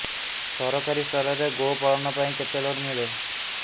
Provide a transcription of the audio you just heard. ସରକାରୀ ସ୍ତରରେ ଗୋ ପାଳନ ପାଇଁ କେତେ ଲୋନ୍ ମିଳେ